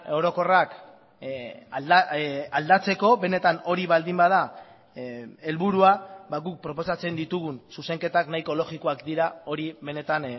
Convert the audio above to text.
orokorrak aldatzeko benetan hori baldin bada helburua guk proposatzen ditugun zuzenketak nahiko logikoak dira hori benetan